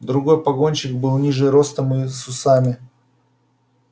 другой погонщик был ниже ростом и с усами